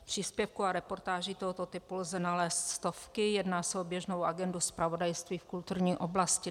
Příspěvků a reportáží tohoto typu lze nalézt stovky, jedná se o běžnou agendu zpravodajství v kulturní oblasti.